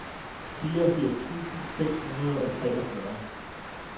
fireogfirs tusind seks hundrede og treogfyrre